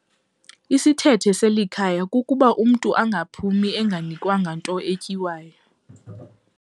Isithethe selikhaya kukuba umntu akaphumi enganikwanga nto etyiwayo.